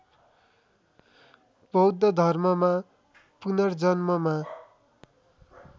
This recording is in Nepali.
बौद्ध धर्ममा पुनर्जन्ममा